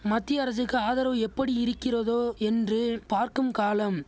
மத்திய அரசுக்கு ஆதரவு எப்படியிருக்கிறதோ என்று பார்க்கும் காலம்